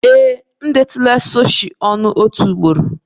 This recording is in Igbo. Ee, m na-atọ ụtọ sushi otu ugboro